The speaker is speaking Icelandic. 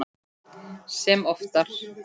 Sem oftar.